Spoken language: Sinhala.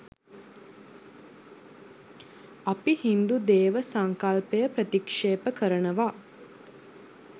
අපි හින්දු දේව සංකල්පය ප්‍රතික්ෂේප කරනවා.